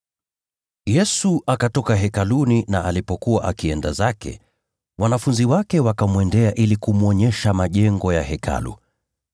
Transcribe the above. Yesu akatoka Hekaluni na alipokuwa akienda zake, wanafunzi wake wakamwendea ili kumwonyesha majengo ya Hekalu.